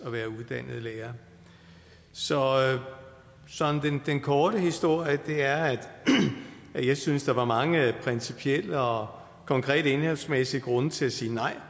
være uddannet lærere så den korte historie er og jeg synes der var mange principielle og konkrete indholdsmæssige grunde til at sige nej